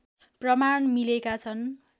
प्रमाण मिलेका छन्